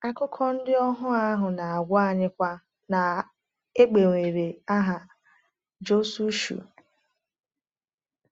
Akụkọ ndị ohuo ahụ na-agwa anyịkwa na e gbanwere aha Jisọshụ.